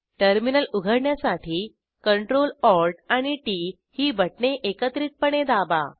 terminal उघडण्यासाठी Ctrl Alt आणि T T ही बटणे एकत्रितपणे दाबा